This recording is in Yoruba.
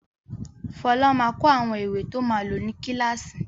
Fọlá máa kó àwọn ìwé to máa lò ní kíláàsì.